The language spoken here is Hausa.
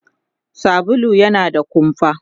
sabulu yana da kumfa